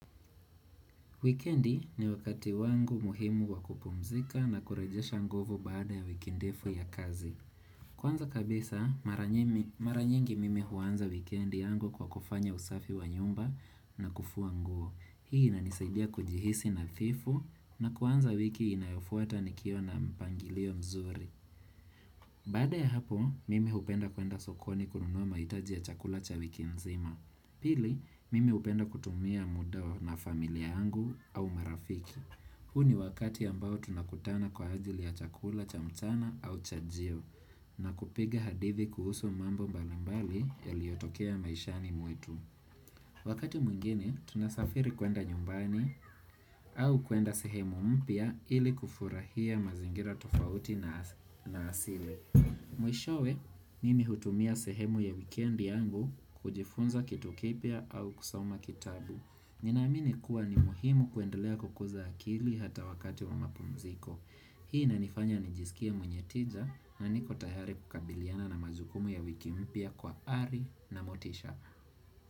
Wikendi ni wakati wangu muhimu wakupumzika na kurejesha nguvu baada ya wiki ndefu ya kazi. Kwanza kabisa, mara nyini mara nyingi mimi huanza wikendi yangu kwa kufanya usafi wa nyumba na kufua nguo. Hii inanisaidia kujihisi nadhifu na kuanza wiki inayofuata nikiwa na mpangilio mzuri. Baada ya hapo, mimi hupenda kuenda sokoni kununua mahitaji ya chakula cha wiki mzima. Pili, mimi hupenda kutumia mda na familia yangu au marafiki. Huu ni wakati ambao tunakutana kwa ajili ya chakula cha mchana au chajio na kupiga hadithi kuhusu mambo mbali mbali yaliotokea maishani mwetu. Wakati mwingine, tunasafiri kuenda nyumbani au kuenda sehemu mpya ili kufurahia mazingira tofauti na asi na asili. Mwishowe mimi hutumia sehemu ya weekendi yangu kujifunza kitu kipya au kusoma kitabu. Ninaamini kuwa ni muhimu kuendelea kukuza akili hata wakati wa mapumziko Hii na nifanya nijisikie mwenye tija na niko tayariel kukabiliana na majukumu ya wiki mpya kwa ari na motisha.